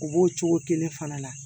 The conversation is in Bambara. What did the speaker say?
U b'o cogo kelen fana la